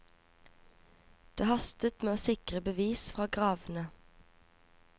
Det hastet med å sikre bevis fra gravene.